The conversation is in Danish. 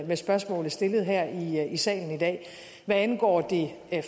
med spørgsmålet stillet her i salen i dag hvad angår det